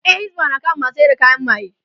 Yan hisba na kama masu sayar da kayan maye